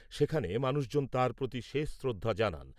সেখানে মানুষজন তাঁর প্রতি শেষ শ্রদ্ধা জানান।